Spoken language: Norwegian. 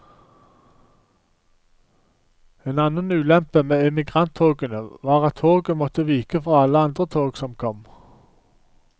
En annen ulempe med emigranttogene var at toget måtte vike for alle andre tog som kom.